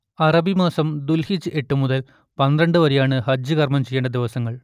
അറബിമാസം ദുൽഹിജ്ജ് എട്ട് മുതൽ പന്ത്രണ്ട് വരെയാണ് ഹജ്ജ് കർമ്മം ചെയ്യേണ്ട ദിവസങ്ങൾ